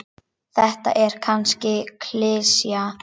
Þetta er kannski klisja.